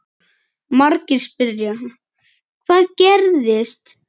Margir spyrja: Hvað gerðist?